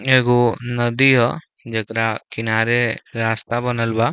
एगो नदी ह जेकरा किनारे रास्ता बनल बा।